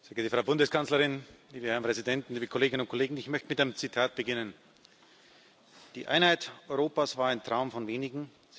Sehr geehrte Frau Bundeskanzlerin, liebe Herren Präsidenten, liebe Kolleginnen und Kollegen! Ich möchte mit einem Zitat beginnen Die Einheit Europas war ein Traum von wenigen.